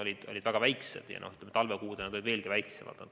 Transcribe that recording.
Need on praegugi väikesed, aga talvekuudel olid veelgi väiksemad.